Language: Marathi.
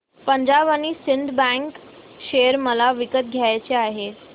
Punjab and Sind bank share मला विकत घ्यायचे आहेत